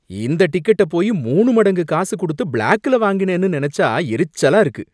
இந்த டிக்கெட்டை போயி மூணு மடங்கு காசு குடுத்து பிளாக்ல வாங்கினேன்னு நினைச்சா எரிச்சலா இருக்கு.